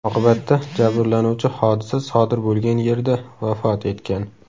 Oqibatda jabrlanuvchi hodisa sodir bo‘lgan yerda vafot etgan.